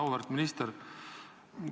Auväärt minister!